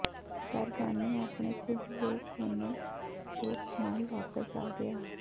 Gargano ਆਪਣੇ ਖੁਦ ਦੇ ਕੋਨੇ ਚੋਪਸ ਨਾਲ ਵਾਪਸ ਆ ਗਿਆ